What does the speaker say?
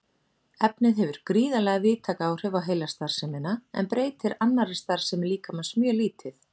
Efnið hefur gríðarlega víðtæk áhrif á heilastarfsemina en breytir annarri starfsemi líkamans mjög lítið.